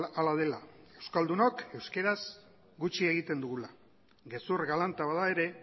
hala dela euskaldunok euskaraz gutxi egiten dugula gezur galanta bada ere